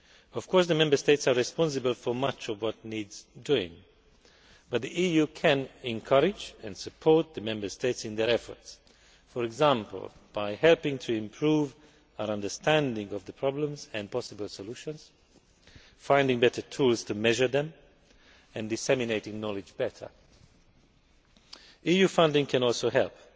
Of course, the Member States are responsible for much of what needs doing, but the EU can encourage and support the Member States in their efforts for example, by helping to improve our understanding of the problems and possible solutions, finding better tools to measure them, and disseminating knowledge better. EU funding can also help.